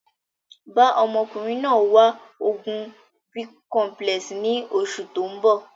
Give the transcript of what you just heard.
Bàa ọmọkùnrin náà wá oògùn Bicomplex ni oṣù tóun bọ̀